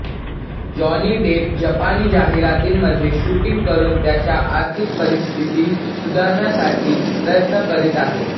Johnny Depp जपानी जाहिरातींमध्ये shooting करून त्याच्या आर्थिक परिस्थिती सुधारण्यासाठी प्रयत्न करीत आहे